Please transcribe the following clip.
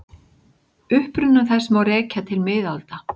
Uppruna þess má rekja til miðalda.